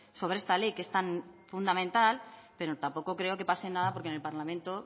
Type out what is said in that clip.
sobre esta ley que es tan fundamental pero tampoco creo que pase nada porque en el parlamento